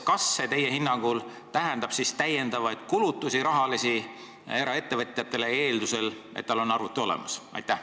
Kas see teie hinnangul tähendab rahalisi lisakulutusi eraettevõtjale, eeldusel, et tal on arvuti olemas?